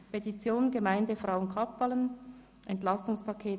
Fünftens: Petition der Gemeinde Frauenkappelen: «Entlastungspaket 2018».